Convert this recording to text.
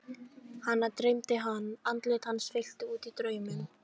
Hana dreymdi hann, andlit hans fyllti út í drauminn.